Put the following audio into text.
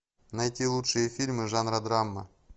найти лучшие фильмы жанра драма